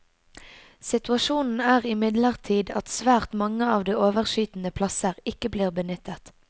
Situasjonen er imidlertid at svært mange av de overskytende plasser ikke blir benyttet.